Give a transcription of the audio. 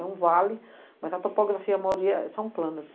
É um vale, mas a topografia, a maioria são planas.